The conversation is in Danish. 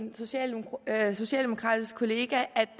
er et forlig